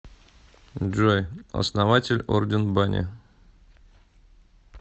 джой основатель орден бани